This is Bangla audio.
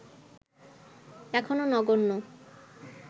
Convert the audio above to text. এখনো নগণ্য